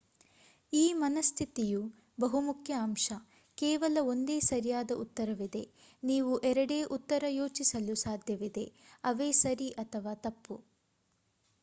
ಈ ಮನಃಸ್ಥಿತಿಯ ಬಹುಮುಖ್ಯ ಅಂಶ ಕೇವಲ ಒಂದೇ ಸರಿಯಾದ ಉತ್ತರವಿದೆ ನೀವು ಎರಡೇ ಉತ್ತರ ಯೋಚಿಸಲು ಸಾಧ್ಯವಿದೆ ಅವೇ ಸರಿ ಅಥವ ತಪ್ಪು